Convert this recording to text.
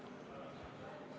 Lugupeetud ettekandja!